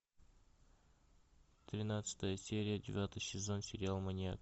тринадцатая серия девятый сезон сериал маньяк